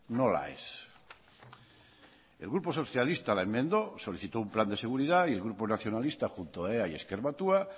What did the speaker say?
nola ez el grupo socialista la enmendó solicitó un plan de seguridad y el grupo nacionalista junto a ea y ezker batua